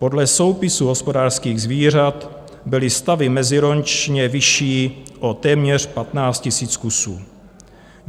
Podle soupisu hospodářských zvířat byly stavy meziročně vyšší o téměř 15 000 kusů.